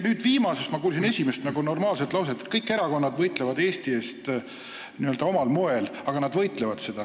Teie viimasest vastusest kuulsin ma esimest normaalset lauset, et kõik erakonnad võitlevad Eesti eest n-ö omal moel, aga nad võitlevad.